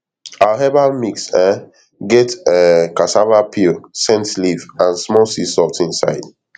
our herbal mix um get um cassava peel scent leaf and small sea salt inside